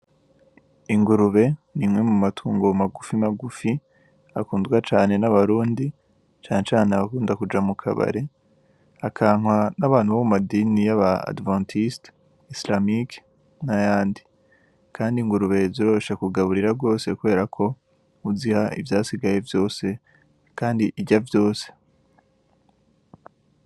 Ingurube n'imwe mu matungo magufi magufi akundwa cane n'abarundi cane cane abakunda kuja mukabare akankwa n'abantu bo mu madini y'abadiventisite, isilamike nayandi, kandi ingurube ziroroshe kugaburira gose kuberako uziha ivyasigaye vyose kandi irya vyose.